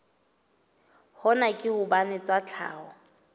hona ke hobane tsa tlhaho